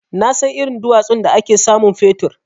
Nasan irin duwatsun da ake samun fetur.